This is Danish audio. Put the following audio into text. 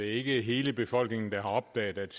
ikke hele befolkningen der har opdaget at